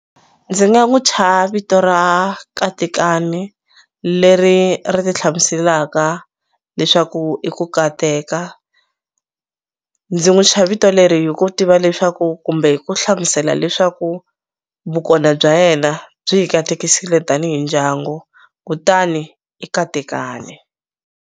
Ndzi nga n'wu thya vito ra Katekani leri ri ti hlamuselaka leswaku i ku kateka ndzi n'wu thya vito leri hi ku tiva leswaku kumbe hi ku hlamusela leswaku vukona bya yena byi hi katekisile tanihi ndyangu kutani i Katekani.